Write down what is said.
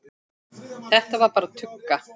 Þetta var bara tugga.